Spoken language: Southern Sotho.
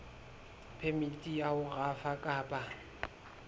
phemiti ya ho rafa kapa